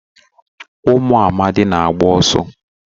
Ụmụ amadi na agba ọsọ.